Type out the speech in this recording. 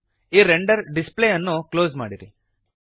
ಈ render display ಅನ್ನು close ಮಾಡಿರಿ